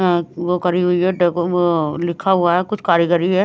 वो पुरा करी हुई है लिखा हुआ है कुछ कारीगरी है।